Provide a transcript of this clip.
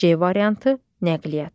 C variantı: nəqliyyat.